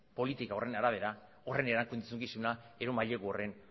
politika horren arabera horren erantzukizuna edo mailegu horren